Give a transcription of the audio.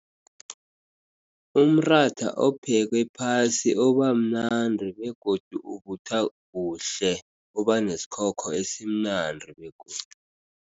Umratha ophekwe phasi uba mnandi, begodu uvuthwa kuhle. Uba nesikhokho esimnandi begodu.